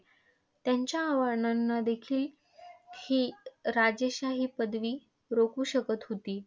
त्यांच्या आव्हानांनादेखिल ही राजेशाही पदवी रोखु शकत होती.